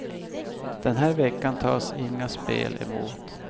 Den här veckan tas inga spel emot.